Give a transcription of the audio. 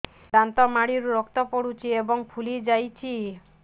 ଦାନ୍ତ ମାଢ଼ିରୁ ରକ୍ତ ପଡୁଛୁ ଏବଂ ଫୁଲି ଯାଇଛି